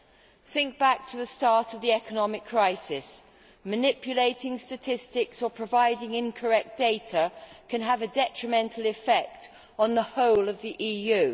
One should think back to the start of the economic crisis and realise that manipulating statistics or providing incorrect data can have a detrimental effect on the whole of the EU.